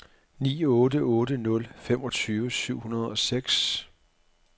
ni otte otte nul femogtyve syv hundrede og seks